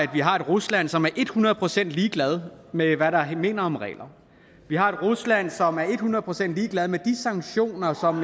vi har et rusland som er hundrede procent ligeglad med hvad der minder om regler vi har et rusland som er hundrede procent ligeglad med de sanktioner som